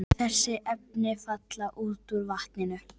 Þessi efni falla út úr vatninu.